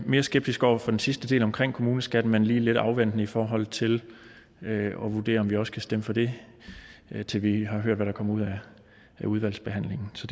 mere skeptiske over for den sidste del omkring kommuneskatten men vi er lige lidt afventende i forhold til at vurdere om vi også kan stemme for det til vi har hørt hvad der kommer ud af udvalgsbehandlingen så